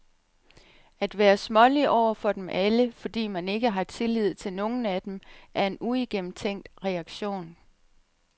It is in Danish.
At være smålig over for dem alle, fordi man ikke har tillid til nogle af dem, er en uigennemtænkt reaktion.